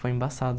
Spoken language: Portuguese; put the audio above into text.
Foi embaçado.